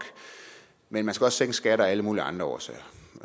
men man skal også sænke skatter af alle mulige andre årsager